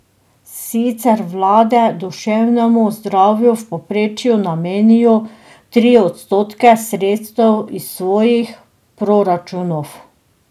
Sicer vlade duševnemu zdravju v povprečju namenijo tri odstotke sredstev iz svojih proračunov.